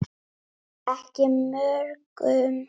Ekki mörgum.